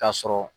K'a sɔrɔ